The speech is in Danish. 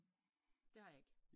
Det har jeg ikke